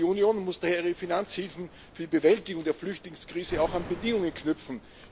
Die Union muss daher ihre Finanzhilfen für die Bewältigung der Flüchtlingskrise auch an Bedingungen knüpfen.